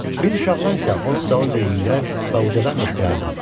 Biz uşaqlar isə onun dalınca yüyürər və ucadan qışqırırdıq.